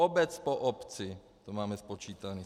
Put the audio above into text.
Obec po obci to máme spočítané.